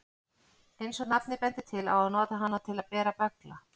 Eins og nafnið bendir til á að nota hana til að bera böggla.